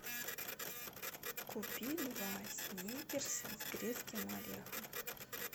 купи два сникерса с грецким орехом